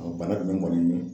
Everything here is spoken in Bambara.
bana jumɛn kɔni